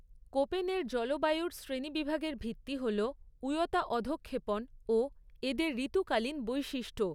কোপেনের জলবায়ুর শ্রেণিবিভাগের ভিত্তি হল উয়তা অধঃক্ষেপণ ও এদের ঋতুকালীন বৈশিষ্ট্য।